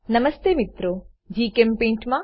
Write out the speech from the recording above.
નમસ્તે મિત્રો જીચેમ્પેઇન્ટ